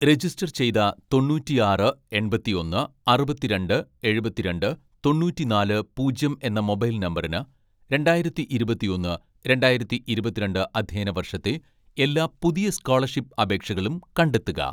register ചെയ്ത തൊണ്ണൂറ്റിയാറ് എൺപത്തിയൊന്ന് അറുപത്തിരണ്ട്‍ എഴുപത്തിരണ്ട് തൊണ്ണൂറ്റിനാല് പൂജ്യം എന്ന മൊബൈൽ നമ്പറിന് , രണ്ടായിരത്തി ഇരുപത്തിയൊന്ന് രണ്ടായിരത്തി ഇരുപത്തിരണ്ട്‍ അധ്യയന വർഷത്തെ എല്ലാ പുതിയ സ്കോളർഷിപ്പ് അപേക്ഷകളും കണ്ടെത്തുക